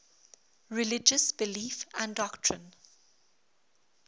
religious belief and doctrine